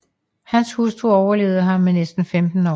Hans hustru overlevede ham med næsten 15 år